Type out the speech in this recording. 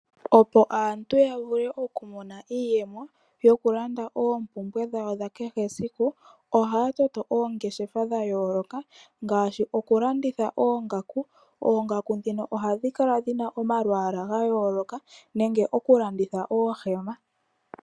Opo aantu yavule okumona iiyemo yokulanda oompumbwe dhawo dha kehe siku ohaya toto oongeshefa dha yooloka ngaashi okulanditha oongaku. Oongaku ndhino ohadhi kala dhina omalwaala ga yooloka nenge okulanditha oohema.